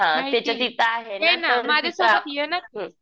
हां त्यांच्यातिथे आहे ना तर हुं